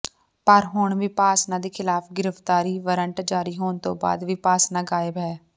ਪਰ ਹੁਣ ਵਿਪਾਸਨਾ ਦੇ ਖਿਲਾਫ ਗ੍ਰਿਫਤਾਰੀ ਵਾਰੰਟ ਜਾਰੀ ਹੋਣ ਤੋਂ ਬਾਅਦ ਵਿਪਾਸਨਾ ਗਾਇਬ ਹੈ